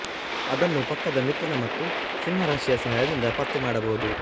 ಅದನ್ನು ಪಕ್ಕದ ಮಿಥುನ ಮತ್ತು ಸಿಂಹ ರಾಶಿಯ ಸಹಾಯದಿಂದ ಪತ್ತೆ ಮಾಡಬಹುದು